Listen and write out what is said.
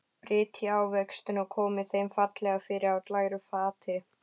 Brytjið ávextina og komið þeim fallega fyrir á glæru fati.